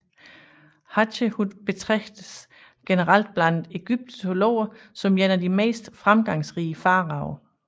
Hatshepsut betragtes generelt blandt egyptologer som en af de mest fremgangsrige faraoer